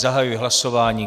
Zahajuji hlasování.